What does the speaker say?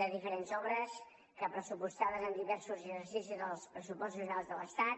de diferents obres que pressupostades en diversos exercicis dels pressupostos generals de l’estat